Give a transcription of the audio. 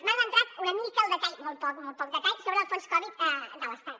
m’ha entrat una mica al detall molt poc molt poc detall sobre el fons covid de l’estat